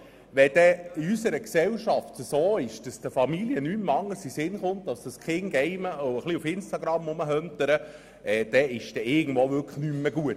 Wenn es in unserer Gesellschaft so aussieht, dass den Familien und den Kindern nichts anderes mehr in den Sinn kommt, als sich auf Instagram zu tummeln und zu gamen, dann ist es wirklich nicht mehr gut.